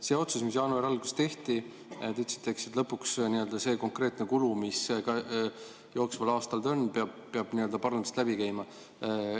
Selle otsuse kohta, mis jaanuari alguses tehti, te ütlesite, et lõpuks peab see konkreetne kulu, mis jooksval aastal on, parlamendist läbi käima.